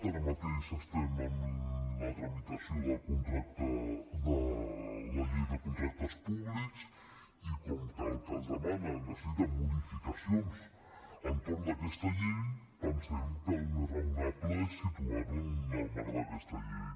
ara mateix estem en la tramitació de la llei de contractes públics i com que el que ens demanen necessita modificacions entorn d’aquesta llei pensem que el més raonable és situar ho en el marc d’aquesta llei